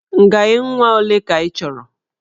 Ngaị nwa ole ka ị chọrọ?